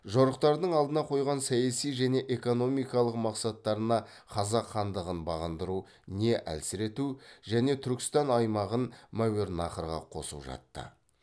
жорықтардың алдына қойған саяси және экономикалық мақсаттарына қазақ хандығын бағындыру не әлсірету және түркістан аймағын мәуереннахрға қосу жатты